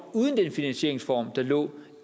uden den finansieringsform der lå